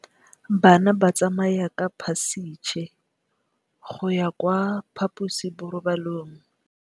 Bana ba tsamaya ka phašitshe go ya kwa phaposiborobalong.